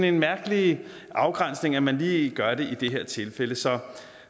en mærkelig afgrænsning at man lige gør det i det her tilfælde så